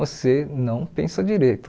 Você não pensa direito.